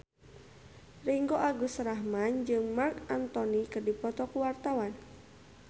Ringgo Agus Rahman jeung Marc Anthony keur dipoto ku wartawan